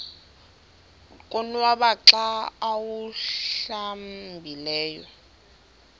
konwaba xa awuhlambileyo